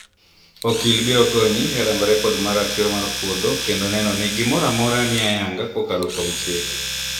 okil biro konyi e rang'o rekod mar ratiro mar puodho kendo neno ni gimoro amora ni ayanga kokalo kuom chik